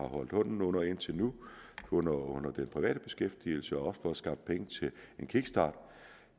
holdt hånden under indtil nu under under den private beskæftigelse også for at skaffe penge til en kickstart